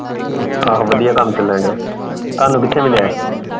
ਆਹੋ ਵਧੀਆ ਕੰਮ ਚਲਣ ਡੇਆ ਤੁਹਾਨੂੰ ਕਿਥੇ ਮਿਲਿਆ ।